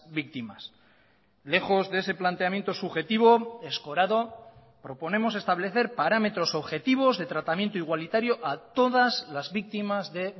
víctimas lejos de ese planteamiento subjetivo escorado proponemos establecer parámetros objetivos de tratamiento igualitario a todas las víctimas de